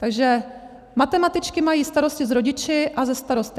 Takže matematičky mají starosti s rodiči a se starosty.